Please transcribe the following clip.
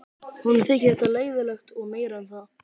Honum þyki þetta leiðinlegt og meira en það.